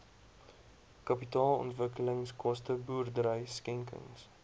kapitaalontwikkelingskoste boerdery skenkings